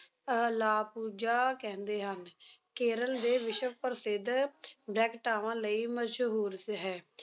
ਅਹ ਲਾਪੁਜਾ ਕਹਿੰਦੇ ਹਨ, ਕੇਰਲ ਦੇ ਵਿਸ਼ਵ ਪ੍ਰਸਿੱਧ ਵੈਂਕਟਾਵਾਂ ਲਈ ਮਸ਼ਹੂਰ ਸ ਹੈ